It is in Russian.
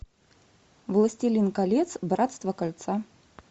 властелин колец братство кольца